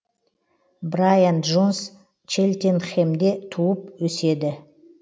брайан джонс челтенхемде туып өседі